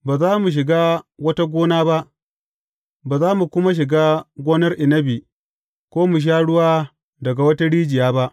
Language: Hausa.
Ba za mu shiga wata gona ba, ba za mu kuma shiga gonar inabi, ko mu sha ruwa daga wata rijiya ba.